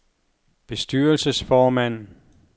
bestyrelsesformand